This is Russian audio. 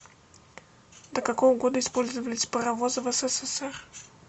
до какого года использовались паровозы в ссср